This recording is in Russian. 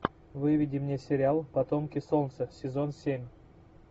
выведи мне сериал потомки солнца сезон семь